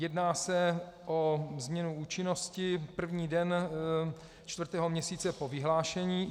Jedná se o změnu účinnosti první den čtvrtého měsíce po vyhlášení.